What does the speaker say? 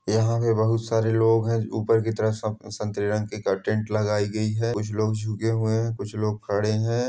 यहाँ पे बहुत सारे लोग है ऊपर की तरफ संतरे रंग की टेंट लगाई गई है कुछ लोग झुके हुए है कुछ लोग खड़े हैं।